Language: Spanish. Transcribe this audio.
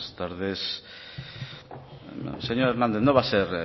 tardes señor hernández no va a ser